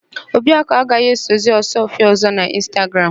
Obiakụ agaghì esozi Ọsụọfịa ọ̀zọ́ n'Ịnstagram.